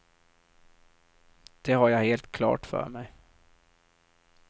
Det har jag helt klart för mig.